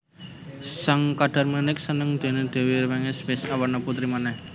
Sang Kadarmanik seneng déné Dèwi Rengganis wis awarna putri manèh